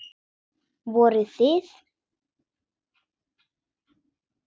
Voruð þið.